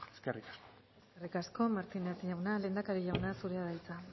eskerrik asko eskerrik asko martínez jauna lehendakari jauna zurea da hitza